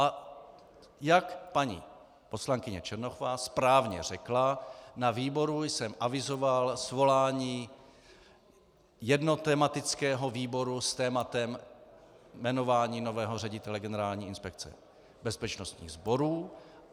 A jak paní poslankyně Černochová správně řekla, na výboru jsem avizoval svolání jednotematického výboru s tématem jmenování nového ředitele Generální inspekce bezpečnostních sborů.